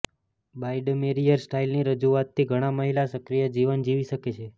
Biedermeier સ્ટાઇલની રજૂઆતથી ઘણા મહિલા સક્રિય જીવન જીવી શકે છે